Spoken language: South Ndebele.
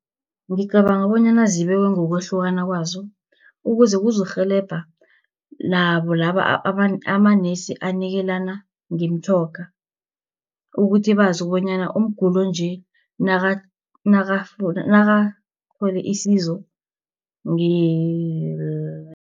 Ngicabanga bonyana zibekwe ngokwahlukana kwazo, ukuze kuzokurhelebha nabo laba amanesi anikelana ngemitjhoga, ukuthi bazi bonyana umguli onje nakathole isizo